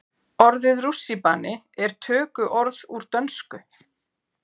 Orðið rússíbani er tökuorð úr dönsku.